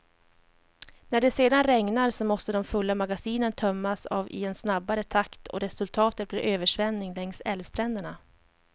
När det sedan regnar, så måste de fulla magasinen tömmas av i en snabbare takt och resultatet blir översvämning längs älvstränderna.